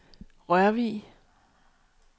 Rørvig